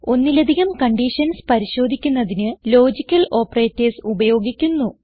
ഒന്നിലധികം കണ്ടീഷൻസ് പരിശോധിക്കുന്നതിന് logical operators ഉപയോഗിക്കുന്നു